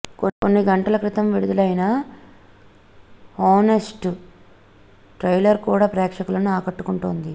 కొన్ని గంటల క్రితం విడుదలైన హానెస్ట్ ట్రైలర్ కూడా ప్రేక్షకులను ఆకట్టుకుంటోంది